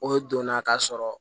O donna ka sɔrɔ